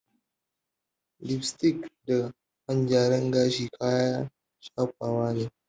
Lipstick da man gyaran gashi kayan shafawa ne.